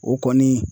O kɔni